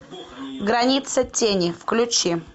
граница тени включи